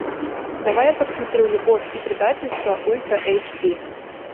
давай я посмотрю любовь и предательство ультра эйч ди